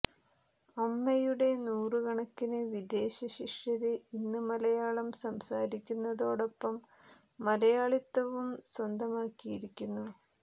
അമ്മയുടെ നൂറുകണക്കിന് വിദേശ ശിഷ്യര് ഇന്ന് മലയാളം സംസാരിക്കുന്നതോടൊപ്പം മലയാളിത്തവും സ്വന്തമാക്കിയിരിക്കുന്നു